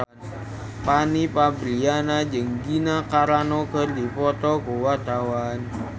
Fanny Fabriana jeung Gina Carano keur dipoto ku wartawan